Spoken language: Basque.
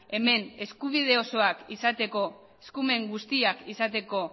hemen eskubide osoak izateko eskumen guztiak izateko